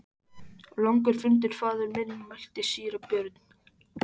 Langur fundur faðir minn, mælti síra Björn.